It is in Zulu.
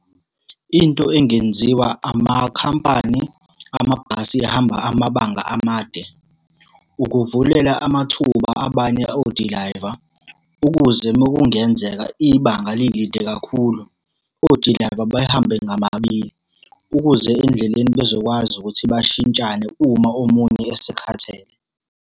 Into engenziwa amakhampani amabhasi ahamba amabanga amade, ukuvulela amathuba abanye odilayiva, ukuze uma kungenzeka ibanga lilide kakhulu, odilayiva bahambe ngababili, ukuze endleleni bezokwazi ukuthi bashintshane uma omunye esekhathele.